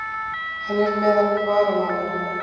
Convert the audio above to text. Hann er meðal varamanna.